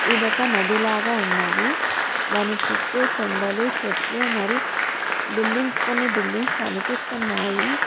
ఇదొక నది లాగా ఉన్నది. దాని చుట్టూ కొండలు చెట్లు మరి బిల్డింగ్స్ కొన్ని బిల్డింగ్స్ కనిపిస్తున్నాయి.